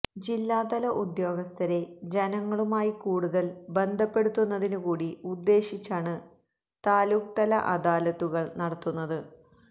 ജില്ലാതല ഉദ്യോഗസ്ഥരെ ജനങ്ങളുമായി കൂടുതല് ബന്ധപ്പെടുത്തുന്നതിനു കൂടി ഉദ്ദേശിച്ചാണ് താലൂക്ക്തല അദാലത്തുകള് നടത്തുന്നത്